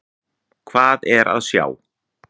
Hvað er að sjá?